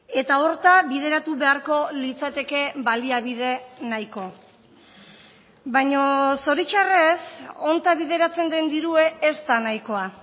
eta horta bideratu beharko litzateke baliabide nahiko baina zoritxarrez honta bideratzen den dirue ez da nahikoa